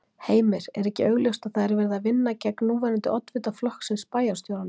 Heimir: Er ekki augljóst að það er verið að vinna gegn núverandi oddvita flokksins, bæjarstjóranum?